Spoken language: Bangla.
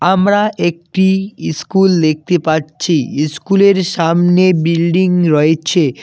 আমরা একটি ইস্কুল দেখতে পারছি ইস্কুলের সামনে বিল্ডিং রয়েচে।